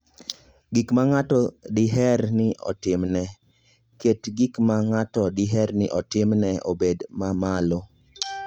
Gik ma ng'ato diher ni otimne: Ket gik ma ng'ato diher ni otimne obed ma malo.